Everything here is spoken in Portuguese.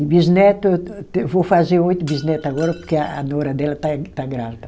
E bisneto, eu te eu vou fazer oito bisneto agora, porque a a nora dela está grávida.